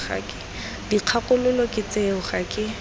dikgakololo ke tseo ga ke